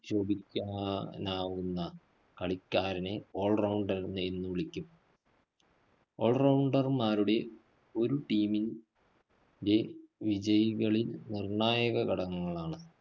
ശോഭിക്കാനാവുന്ന കളിക്കാരനെ all rounder റ് എന്ന് വിളിക്കും. all rounder മാരുടെ ഒരു team മി ൻറെ വിജയികളില്‍ നിര്‍ണ്ണായക ഘടകങ്ങളാണ്.